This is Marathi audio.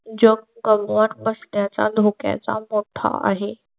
कमवत बसण्याचा धोक्याचा मोठा आहे.